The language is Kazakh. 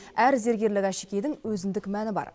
әр зергерлік әшекейдің өзіндік мәні бар